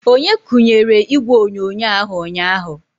Onye kunyere ígwè onyonyo ahụ ụnyaahụ?